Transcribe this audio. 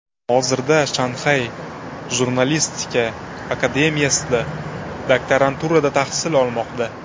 Hozirda Shanxay jurnalistika akademiyasida doktoranturada tahsil olmoqda.